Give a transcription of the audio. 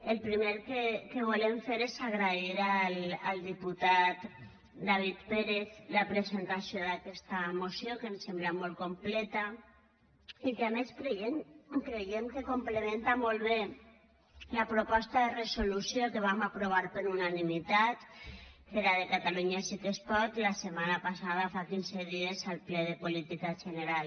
el primer que volem fer és agrair al diputat david pérez la presentació d’aquesta moció que ens sembla molt completa i que a més creiem que complementa molt bé la proposta de resolució que vam aprovar per unanimitat que era de catalunya sí que es pot la setmana passada fa quinze dies al ple de política general